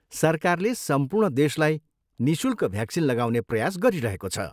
सरकारले सम्पूर्ण देशलाई निःशुल्क भ्याक्सिन लगाउने प्रयास गरिरहेको छ।